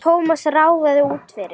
Thomas ráfaði út fyrir.